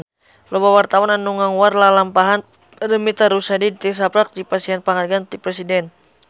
Loba wartawan anu ngaguar lalampahan Paramitha Rusady tisaprak dipasihan panghargaan ti Presiden